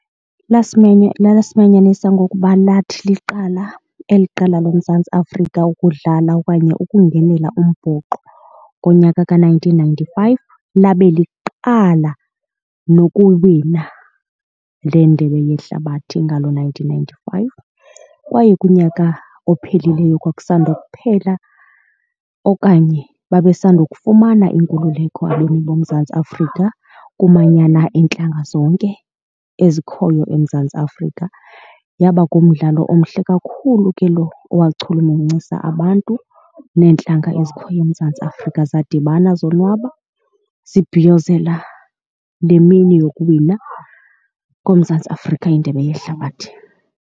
Lasimenya, lasimanyanisa ngokuba lathi liqala eli qela loMzantsi Afrika ukudlala okanye ukungenela umbhoxo ngonyaka ka-nineteen ninety-five labe liqala nokuwina le ndebe yehlabathi ngalo nineteen ninety-five. Kwaye kunyaka ophelileyo kwakusanda ukuphela okanye babe sundukufumana inkululeko abemi boMzantsi Afrika kumanyana iintlanga zonke ezikhoyo eMzantsi Afrika. Yaba ngumdlalo omhle kakhulu ke lo owachulumancisa abantu neentlanga ezikhoyo eMzantsi Afrika zadibana zonwaba, zibhiyozela le mini yokuwina koMzantsi Afrika indebe yehlabathi.